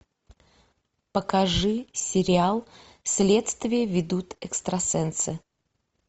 покажи сериал следствие ведут экстрасенсы